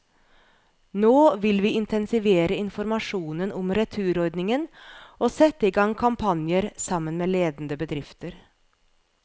Nå vil vi intensivere informasjonen om returordningen og sette i gang kampanjer, sammen med ledende bedrifter.